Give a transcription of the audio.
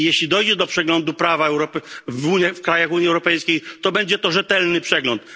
Jeśli dojdzie do przeglądu prawa w krajach Unii Europejskiej, to będzie to rzetelny przegląd.